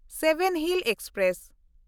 seven hills express